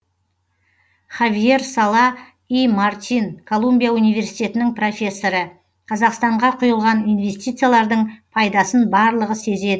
хавьер сала и мартин колумбия университетінің профессоры қазақстанға құйылған инвестициялардың пайдасын барлығы сезеді